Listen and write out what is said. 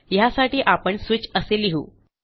ह्यासाठी आपण स्विच असे लिहू